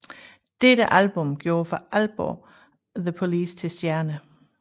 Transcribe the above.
Dette album gjorde for alvor The Police til stjerner